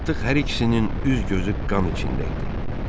Artıq hər ikisinin üz-gözü qan içində idi.